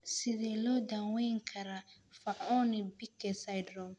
Sidee loo daweyn karaa Fanconi Bickel syndrome?